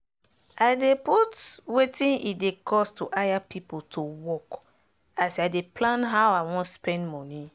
i dey put wetin e go cost to hire pipo to work as i dey plan how i wan spend moni